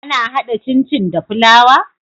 Ana hada cin cin da fulawa?